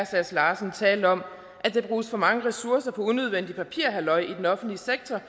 sass larsen tale om at der bruges for mange ressourcer på unødvendigt papirhalløj i den offentlige sektor